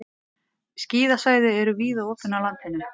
Skíðasvæði eru víða opin á landinu